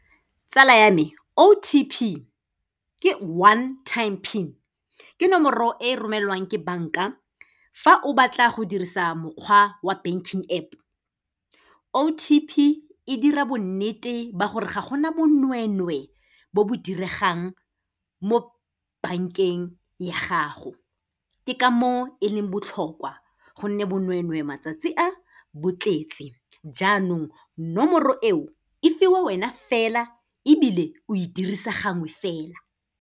Tsala ya me O_T_P ke One Time Pin, ke nomoro e romelwang ke banka fa o batla go dirisa mokgwa wa banking App. O_T_P e dira bonnete ba gore ga gona bonwenwe bo bo diregang mo bank-eng ya gago, ke ka moo e leng botlhokwa gonne bonwenwe matsatsi a, bo tletse. Jaanong nomoro eo, e fiwa wena fela ebile o e dirisa gangwe fela.